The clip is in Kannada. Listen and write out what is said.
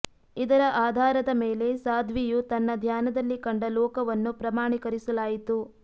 ಇದರ ಆಧಾರದ ಮೇಲೆ ಸಾಧ್ವಿಯು ತನ್ನ ಧ್ಯಾನದಲ್ಲಿ ಕಂಡ ಲೋಕವನ್ನು ಪ್ರಮಾಣಿಕರಿಸಲಾಯಿತು